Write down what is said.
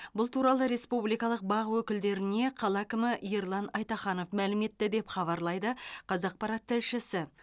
бұл туралы республикалық бақ өкілдеріне қала әкімі ерлан айтаханов мәлім етті деп хабарлайды қазақпарат тілшісі